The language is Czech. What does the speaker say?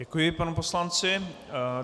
Děkuji panu poslanci.